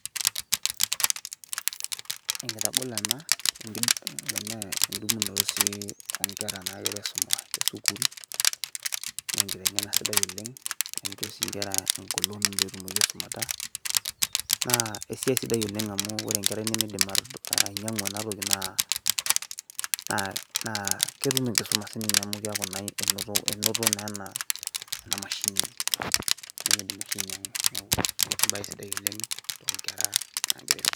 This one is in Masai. enkitagolo ena edumunoto sii oonkera nagira aisuma te sukuul, naa enkitengena sidai oleng. naa incho sii nkera engolon pee etumoki aisumata. naa esiai sidai oleng amu ore enkerai nemeidim ainyiangu ena toki naa ketum enkisuma amu enoto ena mashini nimidim oshi ainyiang'u. neeku ebae sidai oleng.